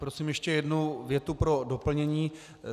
Prosím ještě jednu větu pro doplnění.